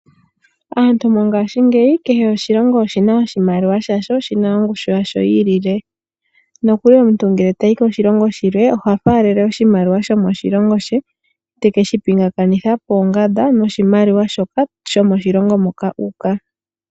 Aantu mongashingeyi, kehe oshilongo oshina oshimaliwa shasho, shina ongushu yasho yi ilile. Nokuli omuntu ngele tayi koshilongo shilwe oha faalele oshimaliwa shomoshilongo she, tekeshi pingakanitha poongamba noshimaliwa shoka shomoshilongo moka u uka.